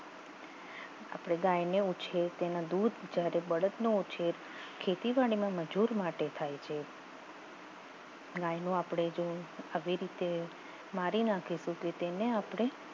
આપણે ગાયને ઉછેર તેના દૂધ જ્યારે બળદનો ઉછેર ખેતીવાડીમાં મજૂર માટે થાય છે ગાયનો આપણે જેવું આવી રીતે મારી નાખીશું કે તેને આપણે